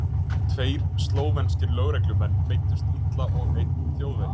Tveir slóvenskir lögreglumenn meiddust illa og einn þjóðverji.